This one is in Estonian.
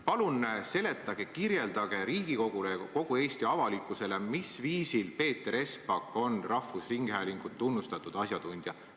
Palun seletage, kirjeldage Riigikogule ja ka kogu Eesti avalikkusele, mis viisil on Peeter Espak rahvusringhäälingu tegevusvaldkonna tunnustatud asjatundja.